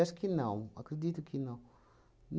Acho que não, acredito que não.